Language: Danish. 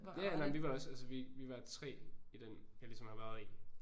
Ja ja nej jamen vi var også altså vi var 3 i den jeg ligesom har været i